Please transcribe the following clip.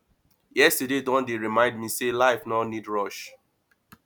yesterday don dey remind me sey life no need rush